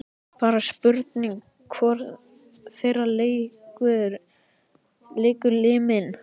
Bara spurning hvor þeirra leikur liminn.